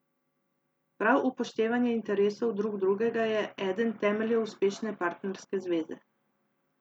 Prav upoštevanje interesov drug drugega je eden temeljev uspešne partnerske zveze.